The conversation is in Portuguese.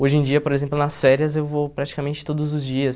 Hoje em dia, por exemplo, nas férias eu vou praticamente todos os dias.